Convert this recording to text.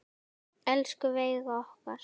Elsku Veiga okkar.